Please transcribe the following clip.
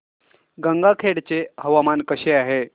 गंगाखेड चे हवामान कसे आहे